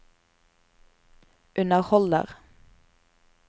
underholder